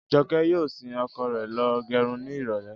Jọkẹ́ yóò sin ọkọ rẹ̀ lọ gẹrun ní ìrọ̀lẹ́